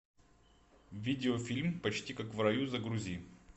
видеофильм почти как в раю загрузи